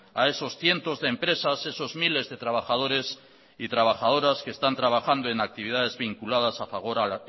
a esos cientos de empresas a esos miles de trabajadores y trabajadoras que están trabajando en actividades vinculadas a fagor